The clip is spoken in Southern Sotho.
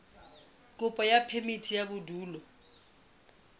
kopo ya phemiti ya bodulo